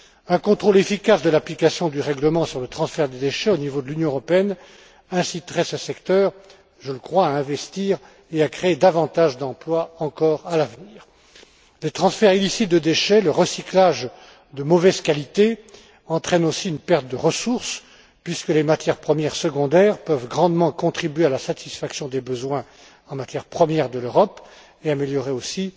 Un contrôle efficace de l'application du règlement sur le transfert des déchets au niveau de l'Union européenne inciterait ce secteur je le crois à investir et à créer davantage d'emplois encore à l'avenir. Le transfert illicite de déchets, le recyclage de mauvaise qualité, entraînent aussi une perte de ressources puisque les matières premières secondaires peuvent grandement contribuer à la satisfaction des besoins en matières premières de l'Europe, et améliorer aussi